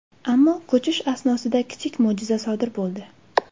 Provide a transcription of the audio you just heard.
Ammo ko‘chish asnosida kichik mo‘jiza sodir bo‘ldi.